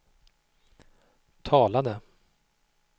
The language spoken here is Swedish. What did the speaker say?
talade